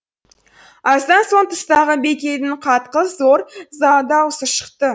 аздан соң тыстағы бекейдің қатқыл зор даусы шықты